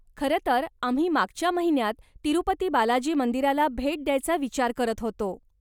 खरंतर आम्ही मागच्या महिन्यात तिरूपती बालाजी मंदिराला भेट द्यायचा विचार करत होतो.